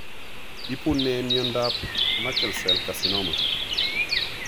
Ipu ne miondap Merkel cell carcinoma?